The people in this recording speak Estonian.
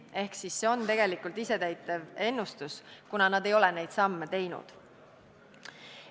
Ehk siis see on tegelikult isetäituv ennustus, kuna nad ei ole neid samme teinud.